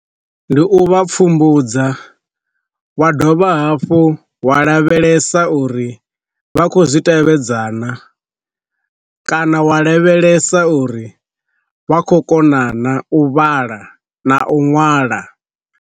Ndi u vha pfumbudza wa dovha hafhu wa lavhelesa uri vha khou zwi tevhedze na, kana wa lavhelesa uri vha khou kona na u vhala na u ṅwala.